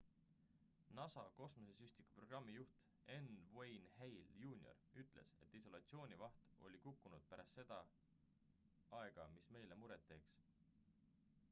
nasa kosmosesüstiku programmi juht n wayne hale jr ütles et isolatsioonvaht oli kukkunud pärast seda aega mis meile muret teeks